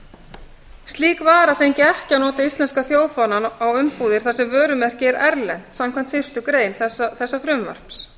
kók slík vara fengi ekki að nota íslenska þjóðfánann á umbúðir þar sem vörumerkið er erlent samkvæmt fyrstu grein þessa frumvarps